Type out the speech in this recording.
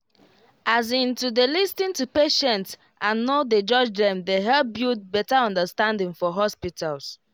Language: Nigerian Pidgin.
as in to dey lis ten to patient and no dey judge dem dey help build better understanding for hospitals